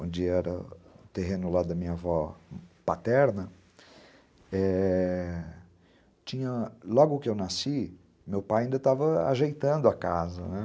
onde era o terreno lá da minha avó paterna, é... tinha... Logo que eu nasci, meu pai ainda estava ajeitando a casa, né.